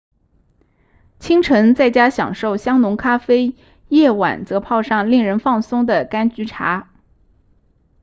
清晨在家享受香浓咖啡夜晚则泡上令人放松的甘菊茶